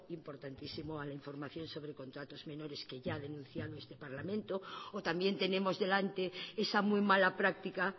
importantísimo a la información sobre contratos menores que ya ha denunciado este parlamento o también tenemos delante esa muy mala práctica